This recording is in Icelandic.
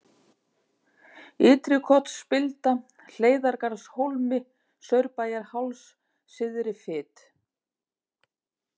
Ytri-Kotsspilda, Hleiðargarðshólmi, Saurbæjarháls, Syðri-Fit